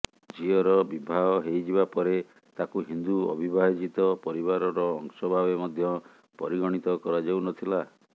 ଝିଅର ବିବାହ ହେଇଯିବା ପରେ ତାକୁ ହିନ୍ଦୁ ଅବିଭାଜିତ ପରିବାରର ଅଂଶ ଭାବେ ମଧ୍ୟ ପରିଗଣିତ କରାଯାଉନଥିଲା